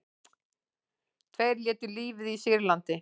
Tveir létu lífið í Sýrlandi